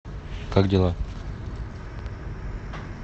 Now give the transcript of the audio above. как дела